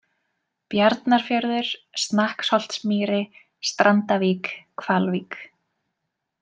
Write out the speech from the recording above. Bjarnarfjörður, Snakksholtsmýri, Strandavík, Hvalvík